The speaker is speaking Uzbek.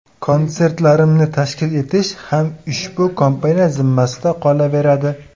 Konsertlarimni tashkil etish ham ushbu kompaniya zimmasida qolaveradi.